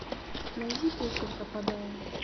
найди песню пропадаю